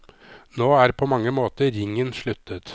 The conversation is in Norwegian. Nå er på mange måter ringen sluttet.